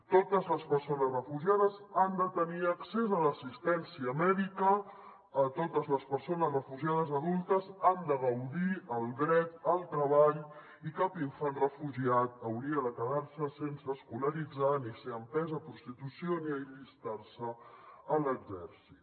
totes les persones refugiades han de tenir accés a l’assistència mèdica totes les persones refugiades adultes han de gaudir del dret al treball i cap infant refugiat hauria de quedar se sense escolaritzar ni ser empès a prostitució ni a allistar se a l’exèrcit